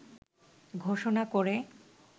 ঘোষণা করে